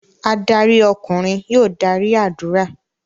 Adarí ọkùnrin yóò darí ádùrá.